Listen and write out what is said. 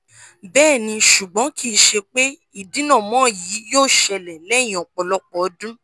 bẹẹni ṣugbọn kii ṣe pe idinamọ yii yoo ṣẹlẹ lẹhin ọpọlọpọ ọdun